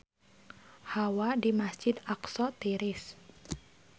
Hawa di Masjid Aqsa tiris